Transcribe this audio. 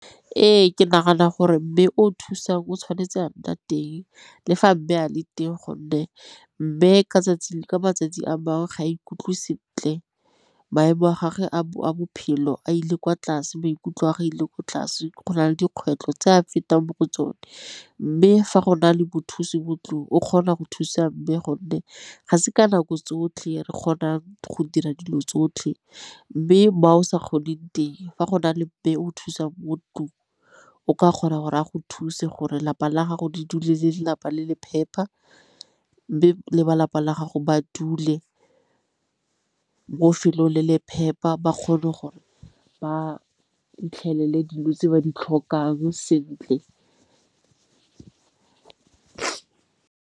Ee, ke nagana gore mme o thusang o tshwanetse a nna teng le fa a be a le teng gonne mme ka 'tsatsi le ka matsatsi a bangwe ga ikutlwe sentle maemo a gagwe a bophelo a ile kwa tlase ba ikutlwa ga ile ko tlase go na le dikgwetlho tse a fetang mo tsone. Mme fa go na le mothusi mo ntlung o kgona go thusa mme gonne ga se ka nako tsotlhe re kgona go dira dilo tsotlhe mme mo o sa kgoneng teng fa go na le be o thusang bo tlong o ka kgona gore a go thuse gore lapa la gago di dule le lelapa le le phepa mme le ba lapa la gago ba dule mo 'felong le le phepa ba kgone gore ba 'itlhele le dilo tse ba di tlhokang sentle.